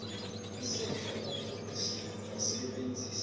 isekela lekosi lingasebenzisa